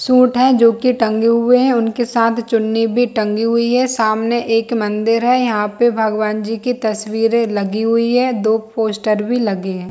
Suit है जो की टंगे हुए हैं उनके साथ चुन्नी भी टंगी हुई है सामने एक मंदिर है यहाँ पे भगवान जी की तस्वीर है लगी हुई है। दो पोस्टर भी लगे हुए है।